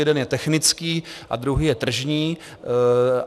Jeden je technický a druhý je tržní.